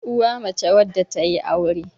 uwa mace wadda ta yi aure